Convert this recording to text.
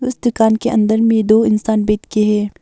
उस दुकान के अंदर में दो इंसान बैठके हैं।